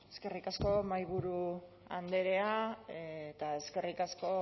eskerrik asko mahaiburu andrea eta eskerrik asko